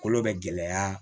Kolo bɛ gɛlɛya